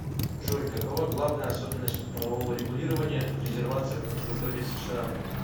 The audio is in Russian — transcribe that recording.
джой какова главная особенность правового регулирования в резервациях на территории сша